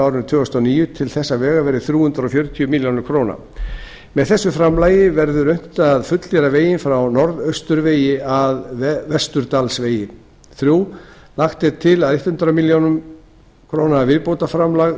árinu tvö þúsund og níu til þess vegar verði þrjú hundruð fjörutíu milljónir króna með þessu framlagi verður unnt að fullgera veginn frá norðausturvegi að vesturdalsvegi þriðja lagt er til að hundrað milljónir króna viðbótarframlag